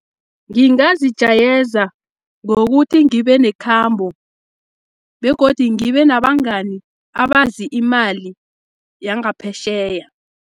Ngingazijayeza, ngokuthi ngibenekhambo, begodi ngibenabangani abazi imali yangaphetjheya.